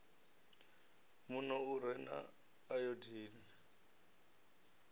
muno u re na ayodini